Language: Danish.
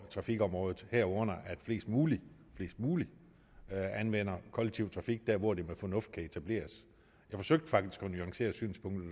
trafikområdet herunder at flest mulige mulige anvender kollektiv trafik der hvor det med fornuft kan etableres jeg forsøgte faktisk at nuancere synspunktet